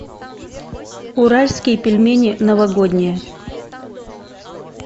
уральские пельмени новогодние